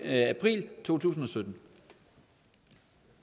april to tusind og sytten